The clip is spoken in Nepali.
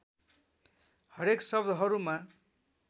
हरेक शब्दहरूमा